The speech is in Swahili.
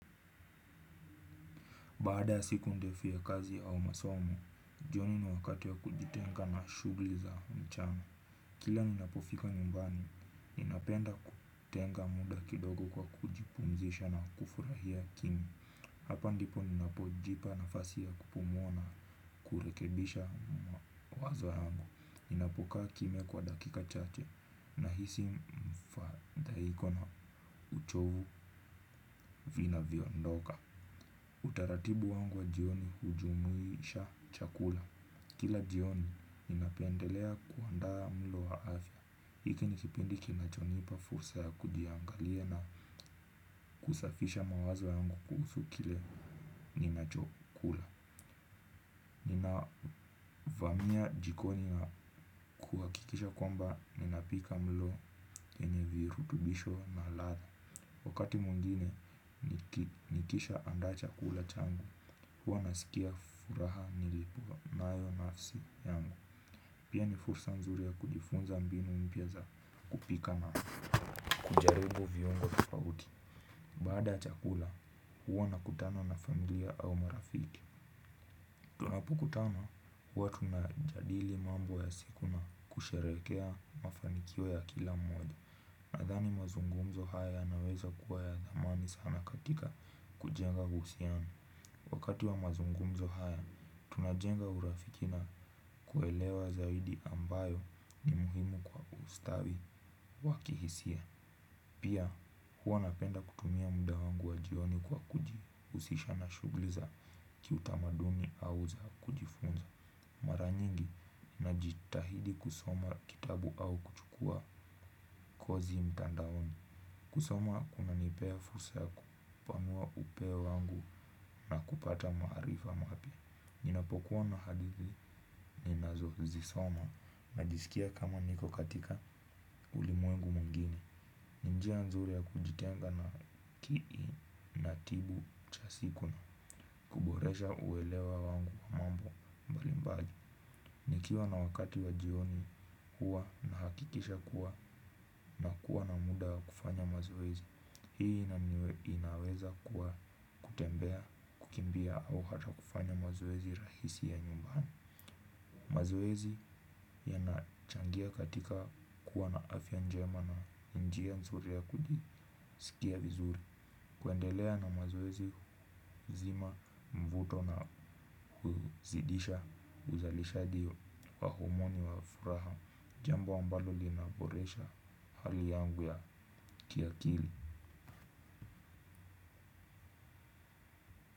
Baada ya siku ndefu ya kazi au masomo, jioni ni wakati ya kujitenga na shughuli za mchana. Kila ninapofika nyumbani, ninapenda kutenga muda kidogo kwa kujipumzisha na kufurahia kimia. Hapa ndipo ninapo jipa nafasi ya kupumua na kurekebisha mawazo yangu. Ni napokaa kimia kwa dakika chache na hisi mfadhaiko na uchovu vina viondoka. Utaratibu wangu wa jioni hujumuisha chakula. Kila jioni ninapendelea kuandaa mlo wa afya. Hiki nikipindi kinachonipa fursa ya kujiangalia na kusafisha mawazo yangu kuhusu kile ninachokula. Nina vamia jikoni na kuhakikisha kwamba ninapika mlo wenye virutubisho na ladha. Wakati mwingine nikisha andaa chakula changu huwa nasikia furaha nilipo nayo nafsi yangu. Pia ni fursa nzuri ya kujifunza mbinu mpya za kupika na kujaribu viungo tofauti. Baada chakula huwa nakutana na familia au marafiki. Tunapokutana huwa tunajadili mambo ya siku na kusherehekea mafanikio ya kila mmoja. Nadhani mazungumzo haya yanaweza kuwa ya dhamani sana katika kujenga uhusiano. Wakati wa mazungumzo haya, tunajenga urafiki na kuelewa zaidi ambayo ni muhimu kwa ustawi wa kihisia. Pia huwa napenda kutumia muda wangu wa jioni kwa kuji husisha na shughuli za kiutamaduni au za kujifunza. Mara nyingi, ninajitahidi kusoma kitabu au kuchukua kozi mtandaoni. Kusoma kuna nipea fursa ya kupanua upeo wangu na kupata maarifa mapya. Ninapokuwa na hadithi, ninazozisoma, najisikia kama niko katika ulimwengu mwingine. Ni njia nzuri ya kujitenga na akili na tibu cha siku na huboresha uwelewa wangu wa mambo mbali mbali. Nikiwa na wakati wa jioni huwa nahakikisha kuwa na kuwa na muda kufanya mazoezi. Hii inaweza kuwa kutembea kukimbia au hata kufanya mazoezi rahisi ya nyumbani. Mazoezi yanachangia katika kuwa na afya njema na ni njia nzuri ya kujisikia vizuri. Kuendelea na mazoezi huzima mvuto na huzidisha uzalishaji wa homoni wa furaha jambo ambalo linaboresha hali yangu ya kiakili.